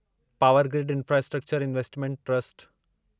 power grid infrastructure investment trust